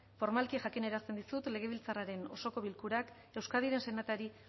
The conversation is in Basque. formalki jakinarazten dizut legebiltzarraren osoko bilkurak euskadiren senatari